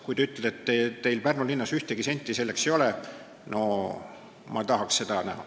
Kui te ütlete, et teil Pärnu linnas selleks ühtegi senti ei ole, siis ... no ma tahaks seda näha.